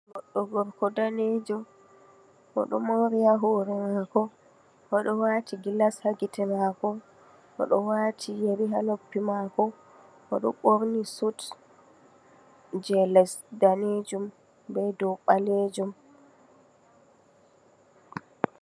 Goɗɗo gorko danejo "oɗo mori ha hore mako, Oɗo wati gilas ha gite mako, Oɗo wati yeri ha noppi mako, Oɗo ɓorni suut je les danejum be dow ɓalejum.